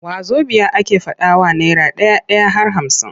Wazobiya ake faɗawa naira ɗai-ɗai har hamsin.